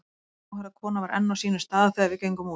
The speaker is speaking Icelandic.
Gráhærða konan var enn á sínum stað þegar við gengum út.